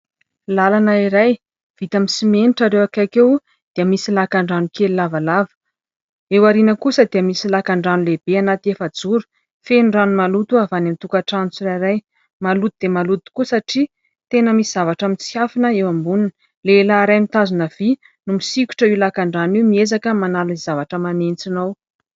Lalana iray vita simenitra ary eo akaiky eo dia misy lakan-drano kely lavalava. Eo aoriana kosa dia misy lakan-drano lehibe anaty efajoro, feno rano maloto avy any amin'ny tokantrano tsirairay maloto dia maloto koa satria tena misy zavatra mitsinkafona eo amboniny. Lehilahy iray mitazona vy no misikotra io lakan-drano io miezaka manala ny zavatra manentsina ao.